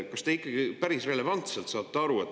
Kas te ikkagi päris relevantselt saate aru?